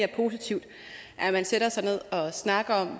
er positivt at man sætter sig ned og snakker